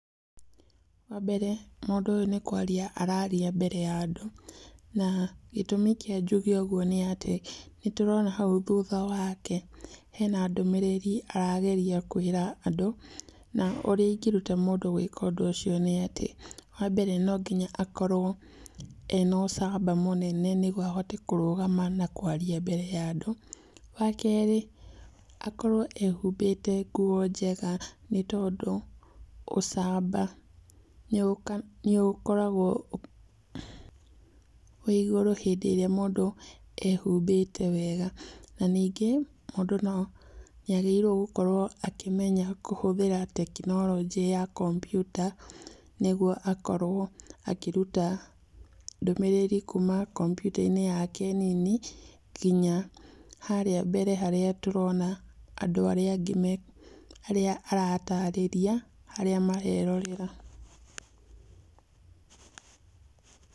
Wambere, mũndũ ũyũ nĩ kwaria araria mbere ya andũ, na gĩtũmi kĩa njuge ũguo nĩati nĩtũrona hau thutha wake, hena ndũmĩrĩri arageria kũĩra andũ, na ũrĩa ingĩruta mũndũ gũĩka ũguo, wambere nonginya akorwo ena ũcamba mũnene mũno nĩguo ahote kũrugama na kwarĩria andũ. Wakeri akorwo ehumbĩte nguo njega, nĩtondũ ũbamba nĩũkoragwo wĩigũrũ hĩndĩ ĩrĩa mũndũ ehumbĩte wega. Na nĩngĩ mũndũ nĩagĩrĩirwo gũkorwo akĩmenya kũhũthĩra tekinoronjĩ ya kompiuta, nĩguo akorwo akĩruta ndũmĩrĩri kuuma kompiuta yake nini, nginya harĩa mbere harĩa andũ arĩa angĩ, harĩa aratarĩria arĩa angĩ marerorera.